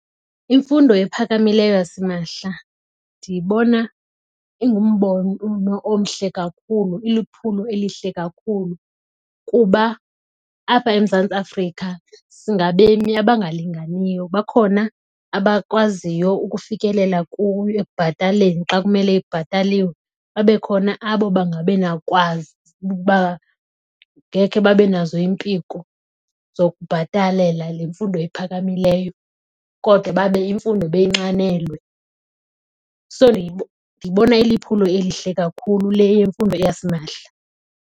Imfundo ephakamileyo yasimahla ndiyibona ingumbono omhle kakhulu iliphulo elihle kakhulu kuba apha eMzantsi Afrika singabemi abangalinganiyo. Bakhona abakwaziyo ukufikelela kuyo ekubhataleni xa kumele ibhataliwe. Babe khona abo bengakwazi ukuba ngekhe babe nazo iimpiko zokubhatalela le mfundo iphakamileyo, kodwa babe imfundo beyinxanelwe. So, ndiyibona iliphulo elihle kakhulu le yemfundo yasimahla.